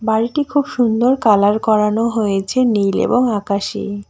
বাড়িটি খুব সুন্দর কালার করানো হয়েছে নীল এবং আকাশি।